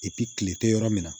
kile tɛ yɔrɔ min na